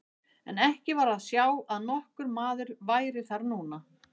En ekki var að sjá að nokkur maður væri þar núna.